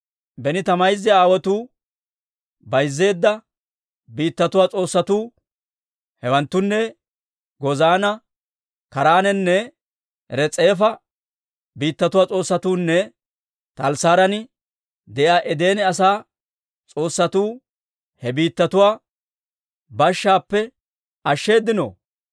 Beni ta mayza aawotuu bayzzeedda biittatuwaa s'oossatuu, hewanttunne Gozaana, Kaaraanenne Res'eefa biittatuwaa s'oossatuunne Talassaaran de'iyaa Edene asaa s'oossatuu he biittatuwaa bashshaappe ashsheeddino?